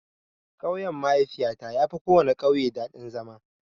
Ƙauyen mahaifiyata yafi kowana ƙauye daɗin zama.